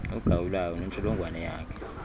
ugawulayo nentsholongwane yakhe